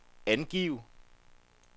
angiv